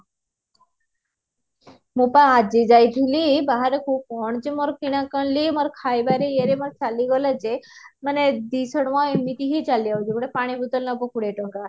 ମୁଁ ବା ଆଜି ଜାଈଥିଲି ବାହାରକୁ କଣ ଯେ ମୋର କିଣା କିଣିଲି ମୋର ଖାଇବା ରେ ଇଏ ରେ ଚାଲିଗଲା ଯେ ମାନେ ଦିଶହ ଟଙ୍କା ଏମିତି ହିଁ ଚାଲିଯାଉଛି ଗୋଟେ ପାଣି bottle ନବ କୋଡିଏ ଟଙ୍କା